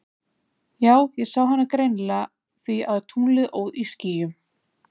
Já ég sá hana greinilega af því að tunglið óð í skýjum.